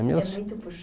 É meus